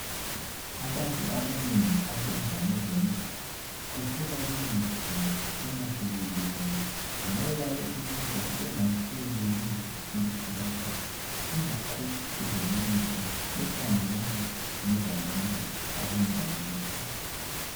Abantu abanengi abenza ngezemidlalo kusuka kubenzima uma sebelimele ngoba lokhu kwenza bengasenelisi ukuthi badlale ingakho kulemithi ekhangelana ngezabantu abenza ngemidlalo